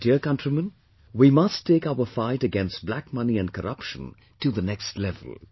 My dear countrymen, we must take our fight against black money and corruption to the next level